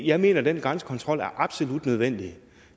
jeg mener at den grænsekontrol er absolut nødvendig